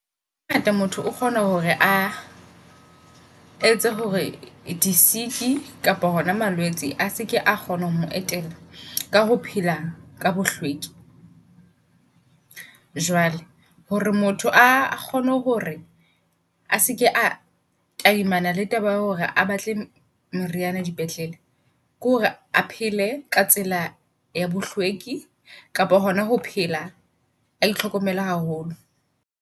Hangaya motho o kgone hore a etse hore di sik kapa hona malwetse, a seke a kgone ho mo etela ka ho phela ka bohlweki. Jwale hore motho a kgone hore a seke a tadimana le taba ya hore a batle meriyana di petlele, ke hore a pele ka tsela ya bohlweki kapo hona ho phela a itlhokomele haholo.